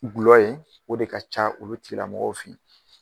Gulɔ ye, o de ka ca olu tigilamɔgɔw fe